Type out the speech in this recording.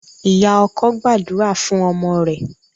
Ìyá ọkọ gbàdúrà fún ọmọ rẹ̀.